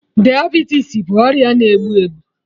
Diabetes bụ ọrịa na egbu egbu